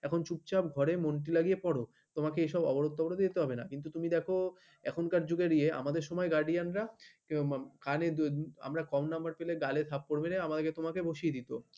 এখন চুপচাপ ঘরে মনটি লাগিয়ে পড়ো তোমাকে এসব অবরোধ টবরদে যেতে হবে না কিন্তু তুমি দেখো এখনকার যুগের ইয়ে আমাদের সময় guardian রা কানে কম নম্বর পেলে গালে থাপ্পড় পড়বে বসিয়ে দিত।